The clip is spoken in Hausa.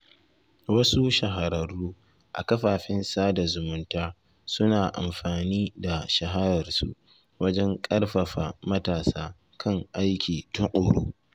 Wasu shahararru a kafafen sada zumunta suna amfani da shahararsu wajen ƙarfafa matasa kan aiki tuƙuru.